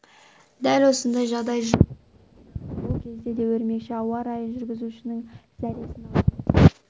дәл осындай жағдай жылы да орын алды ол кезде де өрмекші ауа райын жүргізушінің зәресін алған